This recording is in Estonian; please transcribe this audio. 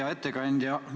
Hea ettekandja!